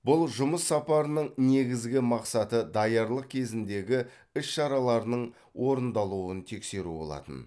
бұл жұмыс сапарының негізгі мақсаты даярлық кезеңіндегі іс шаралардың орындалуын тексеру болатын